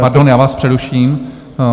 Pardon, já vás přeruším .